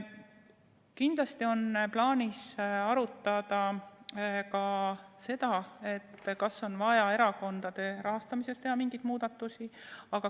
Kindlasti on plaanis arutada ka seda, kas on vaja erakondade rahastamises teha mingisuguseid muudatusi.